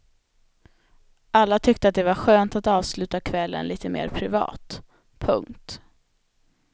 Alla tyckte att det var skönt att avsluta kvällen lite mer privat. punkt